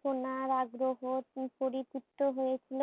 সোনার আগ্রহ বিপরীত তো হয়েছিল